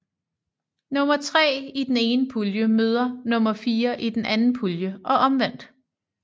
Nummer tre i den ene pulje møder nummer fire i den anden pulje og omvendt